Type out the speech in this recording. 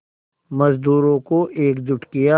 मज़दूरों को एकजुट किया